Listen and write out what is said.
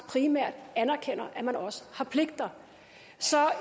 primært anerkender at man også har pligter så